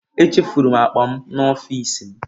Echefuru m akpa m n'ọfịsi m.